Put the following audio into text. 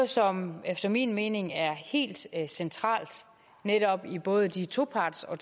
som efter min mening er helt centralt netop i både de toparts og